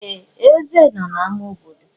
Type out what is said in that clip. Ee! Eze nọ na ámá obodo.